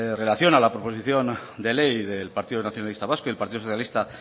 relación a la proposición de ley del partido nacionalista vasco y el partido socialista